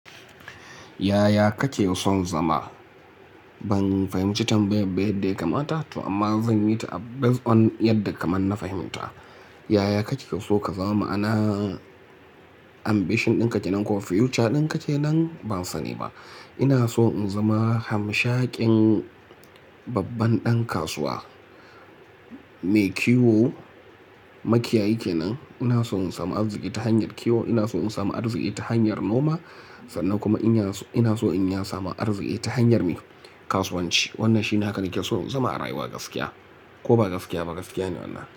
Yaya kake son zama? Ban fahimci tambayar ba yadda ya kamata to amma zan yi ta a based on yadda kaman na fahimta. Yaya kake so ka zama ma'ana ambition ɗin ka kenan ko future ɗin ka kenan? Ban sani ba. Ina so in zama hamshakin babban ɗan kasuwa mai kiwo, makiyayi kenan. Ina so in samu arziki ta hanyar kiwo, ina so in samu arziki ta hanyar noma sannan kuma ina so ina so in ya samu arziki ta hanyar mai kasuwanci. Wannan shi haka nake so in zama a rayuwa gaskiya ko ba gaskiya ba gaskiya ne wannan.